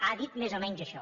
ha dit més o menys això